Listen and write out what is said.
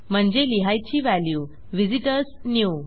म्हणजे लिहायची value visitors new